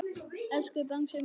Elsku Bangsi minn.